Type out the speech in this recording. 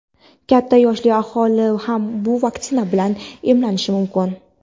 Katta yoshli aholi ham bu vaksina bilan emlanishi mumkin.